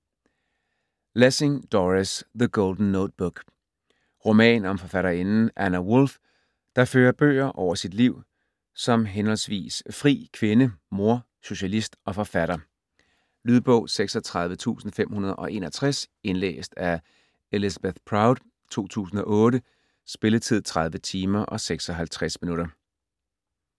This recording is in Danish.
Lessing, Doris: The golden notebook Roman om forfatterinden Anna Wulf, der fører bøger over sit liv som h.h.v. "fri kvinde", mor, socialist og forfatter. Lydbog 36561 Indlæst af Elizabeth Proud, 2008. Spilletid: 30 timer, 56 minutter.